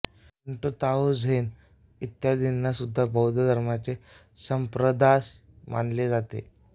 Shinto Tao Zen इत्यादींना सुद्धा बौद्ध धर्माचे संप्रदाय मानले जाते